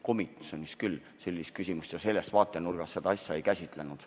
Komisjonis me sellist küsimust ja sellest vaatenurgast seda asja ei käsitlenud.